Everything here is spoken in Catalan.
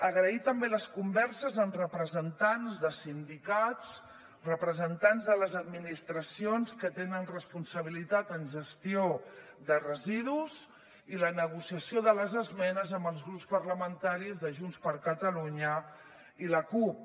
agrair també les converses amb representants de sindicats representants de les administracions que tenen responsabilitat en gestió de residus i la negociació de les esmenes amb els grups parlamentaris de junts per catalunya i la cup